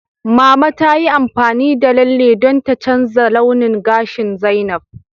Mama ta yi amfani da lalle don ta canza launin gashin Zainab.